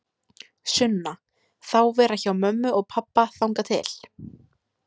Sunna: Þá vera hjá mömmu og pabba þangað til?